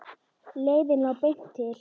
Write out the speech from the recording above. Leiðin lá beint til